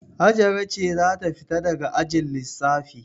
Hajara ce za ta fita daga ajin lissafi.